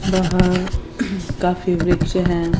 बाहर काफी वृक्ष हैं।